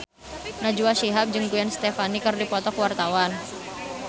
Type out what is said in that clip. Najwa Shihab jeung Gwen Stefani keur dipoto ku wartawan